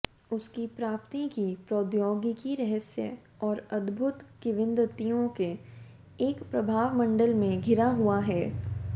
उसकी प्राप्ति की प्रौद्योगिकी रहस्य और अद्भुत किंवदंतियों के एक प्रभामंडल से घिरा हुआ है